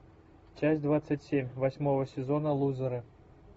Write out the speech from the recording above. часть двадцать семь восьмого сезона лузеры